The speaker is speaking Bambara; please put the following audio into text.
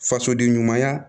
Fasoden ɲumanya